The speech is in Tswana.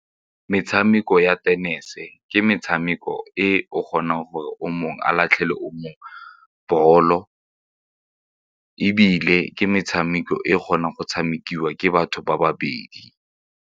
Metshameko ya tenese ke metshameko e o kgonang gore o mongwe a latlhele o mongwe ball-o ebile ke metshameko e kgonang go tshamekiwa ke batho ba babedi.